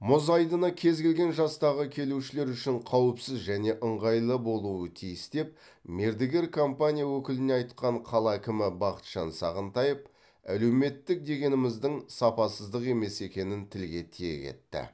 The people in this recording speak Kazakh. мұз айдыны кез келген жастағы келушілер үшін қауіпсіз және ыңғайлы болуы тиіс деп мердігер компания өкіліне айтқан қала әкімі бақытжан сағынтаев әлеуметтік дегеніміздің сапасыздық емес екенін тілге тиек етті